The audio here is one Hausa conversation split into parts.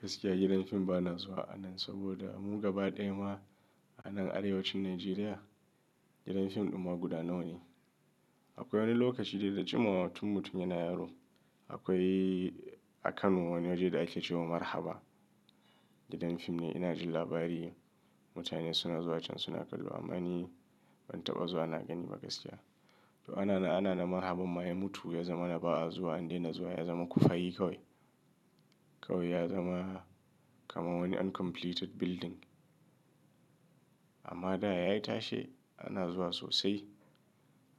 Gaskiya gidan fim ba na zuwa a nan saboda mu gaba ɗaya ma a nan arewacin Najeriya, gidan fim ɗin ma guda nawa ne. Akwai wani lokaci dai da jimawa mutum yana yaro akwai a Kano wani waje da ake cewa Marhaba. Gidan fim ne ina jin labari mutane suna zuwa can suna kallo amma ni ban taɓa zuwa na gani gaskiya. To ana na, ana nan ma abun ma ya mutu ya zama na ba a zuwa, an daina zuwa ya zama kufai kawai. Kawai ya zama kamar wani uncompleted building. Amma da ya yi tashe ana zuwa sosai.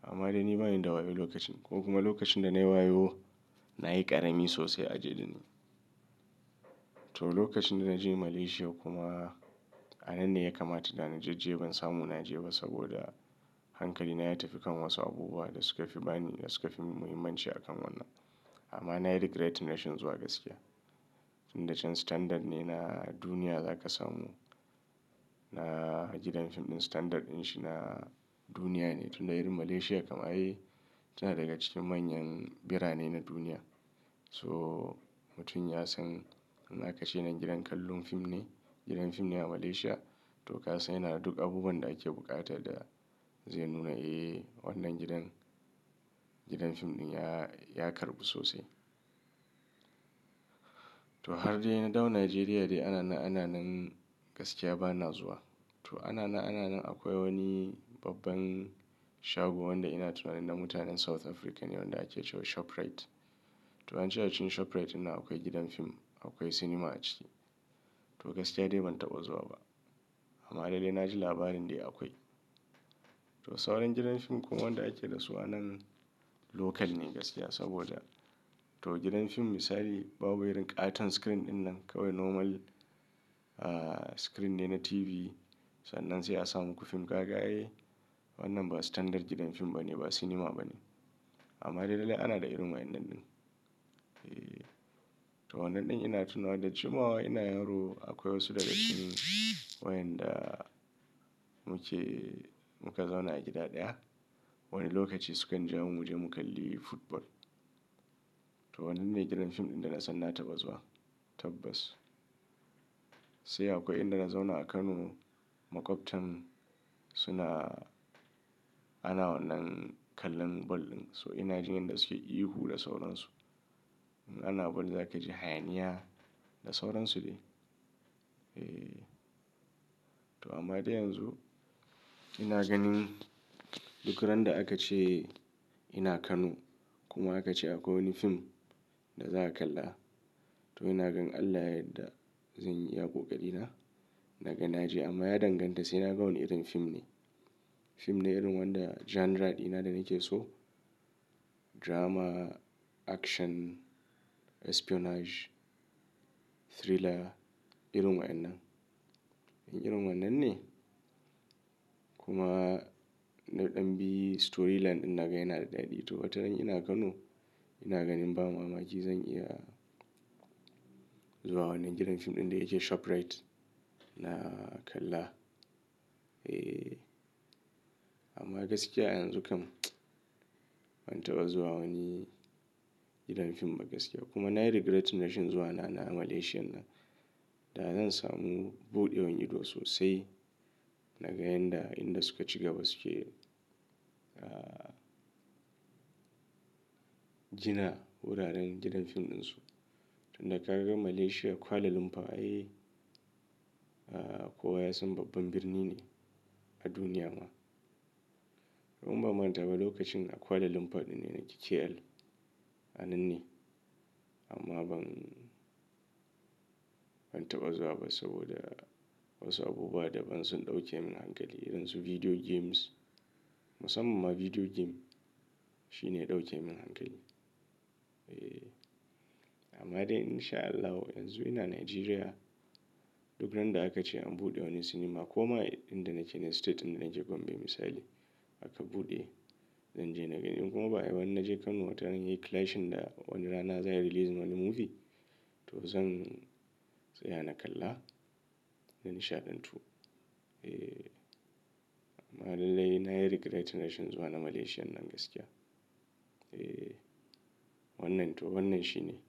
Amma da ni bani da wayo lokacin ko kuma lokacin da nayi wayo nayi ƙarami sosai a je da ni. To lokacin da na je Malaysia kuma a nan ne ya kamata da na je, je ban samu na je ba saboda hankali na ya tafi kan wasu abubuwa da suka fi bani da suka fi muhimmanci a kan wannan. Amma na yi regretting rashin zuwa gaskiya. Tun da can standard ne na duniya za ka samu. Na gidan fim ɗin standard din shi na duniya ne tun da irin Malaysia kam ai tana daga cikin manyan birane na duniya. So mutum ya san in aka ce nan gidan kallon fim ne, gidan fim ne a Malaysia to ka san yana da duk abubuwan da ake buƙata da zai nuna, eh wannan gidan, gidan fim ɗin ya, ya karɓu sosai. To har dai na dawo Najeriya dai ana na, ana nan gaskiya ba na zuwa. To ana nan, ana nan akwai wani babban shago wanda ina tunanin na mutanen South Africa ne wanda ake cewa ShopRite. To an ce a cikin ShopRite dinnan akwai gidan fim, akwai cinema a ciki. To gaskiya dai ban taɓa zuwa ba. Amma dai na ji labarin dai akwai. To sauran gidan fim kuma wanda ake da su a nan local ne gaskiya saboda to gidan fim misali babu irin ƙaton screen dinnan kawai normal screen ne na TV sannan sai a sa muku fin kaga ai wannan ba standard gidan fim bane ba cinema bane. Amma dai lallai ana da irin wa'inan din. Eeh. To wannan ɗin ina tunawa da jimawa ina yaro akwai wasu daga cikin wayanda muke, muka zauna a gida ɗaya. Wani lokaci sukan ja mu muje mu kalli football. To wannan me gidan fim ɗin da na san na taɓa zuwa. Tabbas. Sai akwai inda na zauna a Kano maƙwabtan suna, ana wannan kallon ball ɗin so ina jin yadda suke ihu da sauransu. Ana ball za ka ji hayaniya da sauransu dai. Eeh. To amma dai yanzu ina ganin duk ran da aka ce ina Kano kuma aka ce akwai wani fim da za a kalla to ina gan in Allah ya yadda zanyi iya ƙoƙari na, naga naje amma ya danganta sai naga wane irin fim ne. Fim ne irin wanda genre ɗina da nake so. Drama, action, espionage, thriller irin wa'inan. In irin wannan ne kuma naɗan bi storyline ɗin naga yana da daɗi to wataran ina Kano ina ganin ba mamaki zan iya zuwa wannan gidan fim ɗin da yake ShopRite na kalla. Eeh. Amma gaskiya a yanzu kam ban taɓa zuwa wani gidan fim ba gaskiya kuma na yi regretting rashin zuwa na na Malaysian nan. Da zan samu buɗewan ido sosai naga yanda inda suka ciga ba su ke, ah gina wuraren gidan fim ɗinsu. Tun da ka ga Malaysia, Kuala Lumpur ai kowa ya san babban birni ne a duniya ma. Kuma ban ma taɓa lokacin a Kuala Lumpur ɗin ne nake KL a nan ne amma ban, ban taɓa zuwa ba saboda wasu abubuwa daban sun ɗauke min hankali irin su video games. Musamman ma video game shine ya ɗauke min hankali. Eeh. Amma dai in sha Allahu yanzu ina Najeriya duk ran da aka ce an buɗe wani cinema ko ma inda nake ne state ɗin da nake Gombe misali aka buɗe zan je naga. In kuma baayi ba in naje Kano wataran yayi clashing da wani rana za ayi releasing wani movie to zan tsaya na kalla. Na nishaɗantu. Eeh. Amma lallai na yi regret rashin zuwa na Malaysian nan gaskiya. Eeh. Wannan to wannan shine.